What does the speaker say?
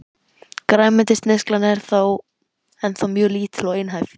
Grænmetisneyslan er þó ennþá mjög lítil og einhæf.